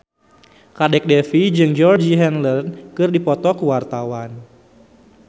Kadek Devi jeung Georgie Henley keur dipoto ku wartawan